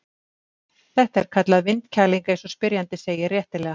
Þetta er kallað vindkæling eins og spyrjandi segir réttilega.